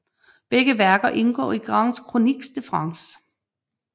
Begge værker indgår i Grandes Chroniques de France